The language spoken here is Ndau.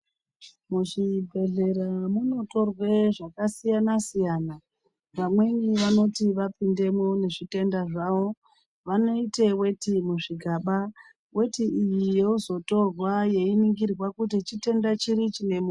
Muzvibhedhlera munotorwe zvakasiyana-siyana vamweni vanoti vapindemwo nezvitenda zvavo. Vanoite veti muzvigaba veti iyi yozotorwa yeiningira kuti chitenda chiri chine muntu.